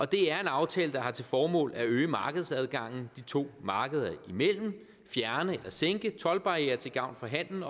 det er en aftale der har til formål at øge markedsadgangen de to markeder imellem fjerne eller sænke toldbarrierer til gavn for handelen